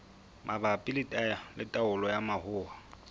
mabapi le taolo ya mahola